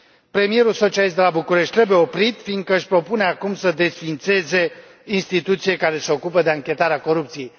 Premierul socialist de la București trebuie oprit fiindcă își propune acum să desființeze o instituție care se ocupă de anchetarea corupției.